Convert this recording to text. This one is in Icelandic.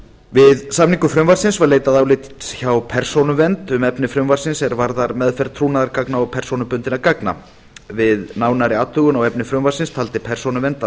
við samningu frumvarpsins var leitað álits hjá persónuvernd um efni frumvarpsins er varðar meðferð trúnaðargagna og persónubundinna gagna við nánari athugun á efni frumvarpsins taldi persónuvernd að